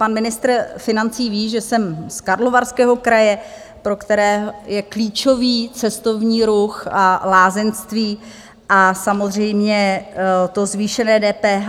Pan ministr financí ví, že jsem z Karlovarského kraje, pro který je klíčový cestovní ruch a lázeňství, a samozřejmě to zvýšené DPH...